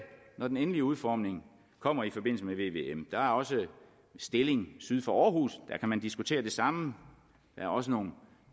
når den endelige udformning kommer i forbindelse med vvm der er også stilling syd for aarhus der kan man diskutere det samme der er også nogle